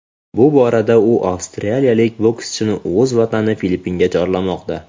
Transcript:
Bu borada u avstraliyalik boskchini o‘z vatani Filippinga chorlamoqda.